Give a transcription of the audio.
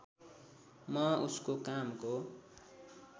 म उसको कामको